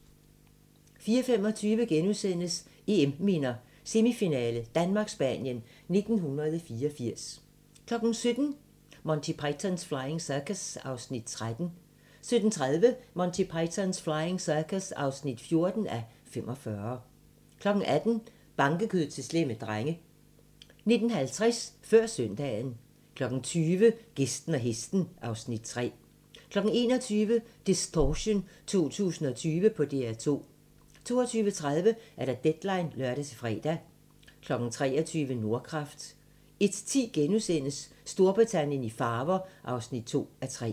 14:25: EM-minder: Semifinale: Danmark-Spanien 1984 * 17:00: Monty Python's Flying Circus (13:45) 17:30: Monty Python's Flying Circus (14:45) 18:00: Bankekød til slemme drenge 19:50: Før søndagen 20:00: Gæsten og hesten (Afs. 3) 21:00: Distortion 2020 på DR2 22:30: Deadline (lør-fre) 23:00: Nordkraft 01:10: Storbritannien i farver (2:3)*